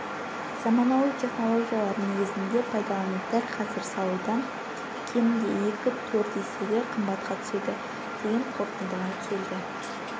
заманауи технологиялар негізінде пайдалану дәл қазір салудан кемінде екі-төрт есеге қымбатқа түседі деген қорытындыға келді